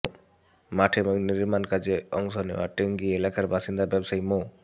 মাঠে নির্মাণ কাজে অংশ নেওয়া টঙ্গী এলাকার বাসিন্দা ব্যবসায়ী মো